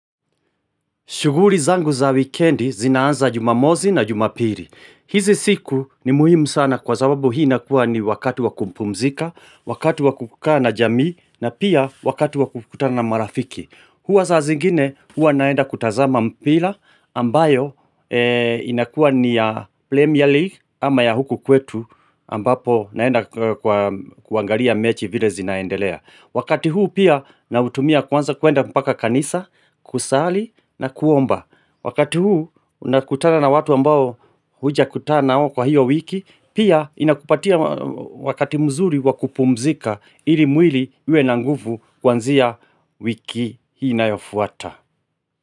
Shuguli zangu za wikendi zinaanza jumamosi na jumapili. Hizi siku ni muhimu sana kwa sababu hii inakuwa ni wakati wa kupumzika, wakati wa kukaa na jamii na pia wakati wa kukutana na marafiki. Huwa saa zingine huwa naenda kutazama mpira ambayo inakuwa ni ya Premier League ama ya huku kwetu ambapo naenda kuangalia mechi vile zinaendelea. Wakati huu pia nautumia kwanza kuenda mpaka kanisa, kusali na kuomba. Wakati huu unakutana na watu ambao hujakutana nao kwa hiyo wiki pia inakupatia wakati mzuri wakupumzika ili mwili iwe na nguvu kuanzia wiki inayofuata.